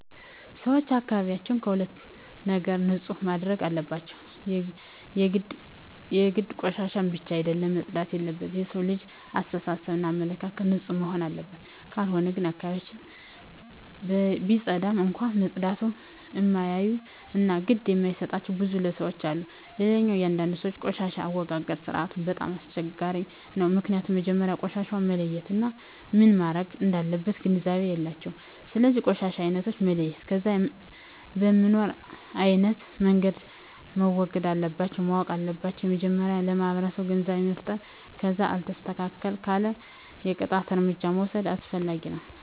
ሰወች አካባቢያቸውን ከሁሉም ነገር ንፁህ ማድረግ አለባቸው የግድ ቆሻሻ ብቻ አደለም መፅዳት የለበት የሠው ልጅ አሰተሳሰብ እና አመለካከትም ንፁህ መሆንና አለበት ካልሆነ ግን አካባቢውን ቢፀዳም እንኳ መፀዳቱን እማያዮ እና ግድ እማይጣቸው ብዙ ለሠዎች አሉ። ሌላው አንዳንድ ሰወች የቆሻሻ አወጋገድ ስርዓቱ በጣም አስቸጋሪ ነው ምክኒያቱም መጀመሪያ ቆሻሻውን መለየት እና ምን መረግ እንዳለበት ግንዛቤ የላቸውም ስለዚ የቆሻሻ አይነቶችን መለየት ከዛ በምኖ አይነት መንገድ መወገድ እንለባቸው ማወቅ አለባቸው መጀመሪያ ለማህበረሰቡ ግንዛቤ መፍጠር ከዛ አልስተካክል ካለ የቅጣት እርምጃ መውስድ አስፈላጊ ነው